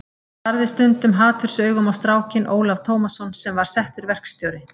Hann starði stundum hatursaugum á strákinn Ólaf Tómasson sem var settur verkstjóri.